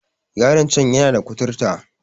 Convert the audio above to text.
Yaron can yana da kuturta